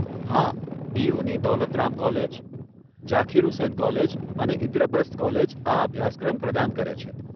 હા, ડીયુની Daulat Ram college, Zakir Hussain college અને ઇન્દ્રપ્રસ્થ કોલેજ આ અભ્યાસક્રમ પ્રદાન કરે છે.